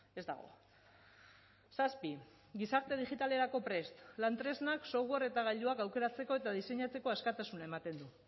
ez dago zazpi gizarte digitalerako prest lan tresnak software eta gailuak aukeratzeko eta diseinatzeko askatasuna ematen du